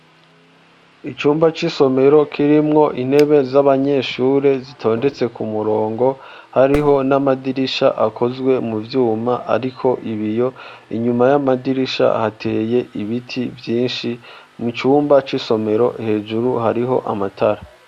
icumba c,isomero kirimwo intebe z'abanyeshure zitondetse ku murongo hariho n'amadirisha akozwe mu vyuma ariko ibiyo inyuma y'amadirisha hateye ibiti vyinshi mu cumba c,isomero hejuru hariho amatara